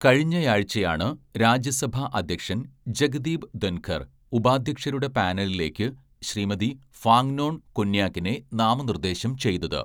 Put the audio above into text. കഴിഞ്ഞ ആഴ്ചയാണു രാജ്യസഭ അധ്യക്ഷൻ ജഗ്ദീപ് ധൻഖർ ഉപാധ്യക്ഷരുടെ പാനലിലേക്ക് ശ്രീമതി ഫാങ്നോൺ കൊന്യാക്കിനെ നാമനിർദേശം ചെയ്തത്.